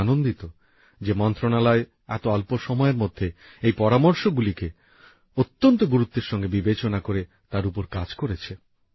আমি আনন্দিত যে মন্ত্রণালয় এত অল্প সময়ের মধ্যে এই পরামর্শগুলিকে অত্যন্ত গুরুত্বের সঙ্গে বিবেচনা করে তার উপর কাজ করেছে